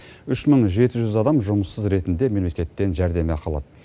үш мың жеті жүз адам жұмыссыз ретінде мемлекеттен жәрдемақы алады